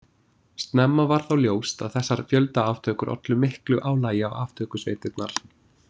Snemma varð þó ljóst að þessar fjöldaaftökur ollu miklu álagi á aftökusveitirnar.